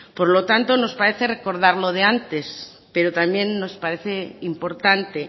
por lo tanto nos parece recordar lo de antes pero también nos parece importante